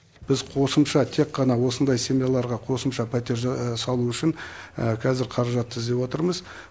біз қосымша тек қана осындай семьяларға қосымша пәтер салу үшін қазір қаражат іздеп отырмыз